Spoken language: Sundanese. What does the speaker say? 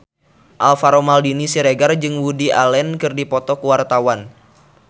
Alvaro Maldini Siregar jeung Woody Allen keur dipoto ku wartawan